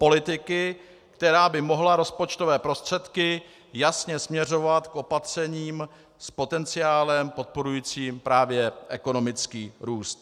Politiky, která by mohla rozpočtové prostředky jasně směřovat k opatřením s potenciálem podporujícím právě ekonomický růst.